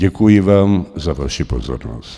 Děkuji vám za vaši pozornost.